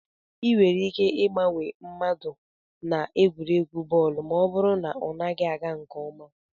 Ị nwere ike ịgbanwe mmadụ na egwuregwu bọọlụ ma ọ bụrụ na ọ naghị aga nke ọma